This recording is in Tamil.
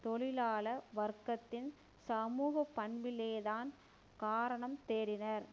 தொழிலாள வர்க்கத்தின் சமூக பண்பிலேதான் காரணம் தேடினர்